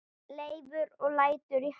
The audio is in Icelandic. Leifur lætur í haf